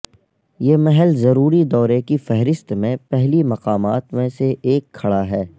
یہ محل ضروری دورے کی فہرست میں پہلی مقامات میں سے ایک کھڑا ہے